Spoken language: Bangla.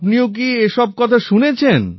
আপনিও কি এমন সব কথা শুনেছেন